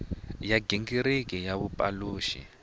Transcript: ya nghingiriko wa ku pulana